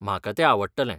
म्हाका तें आवडटलें!